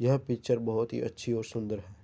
यह पिक्चर बोहोत ही अच्छी और सुंदर है ।